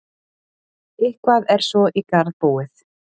Eitthvað er svo í garð búið